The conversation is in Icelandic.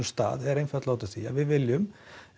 stað er einfaldlega sú að við viljum